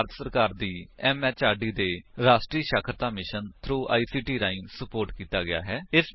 ਇਹ ਭਾਰਤ ਸਰਕਾਰ ਦੀ ਐਮਐਚਆਰਡੀ ਦੇ ਰਾਸ਼ਟਰੀ ਸਾਖਰਤਾ ਮਿਸ਼ਨ ਥ੍ਰੋ ਆਈਸੀਟੀ ਰਾਹੀਂ ਸੁਪੋਰਟ ਕੀਤਾ ਗਿਆ ਹੈ